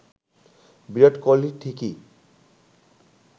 বিরাট কোহলি ঠিকই